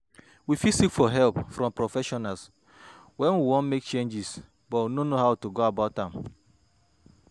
we fit seek for help from professional when we wan make change but no know how to go about am